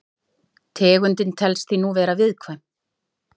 Tegundin telst því nú vera viðkvæm.